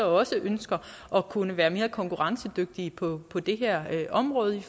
også ønsker at kunne være mere konkurrencedygtige på på det her område